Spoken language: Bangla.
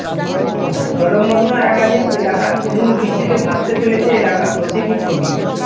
জলমগ্ন একাধিক এলাকা তুমুল বৃষ্টিতে ভাসতে চলেছে এলাকা প্রতীকী ছবি